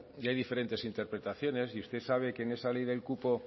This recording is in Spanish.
y hay diferentes interpretaciones y usted sabe que en esta ley del cupo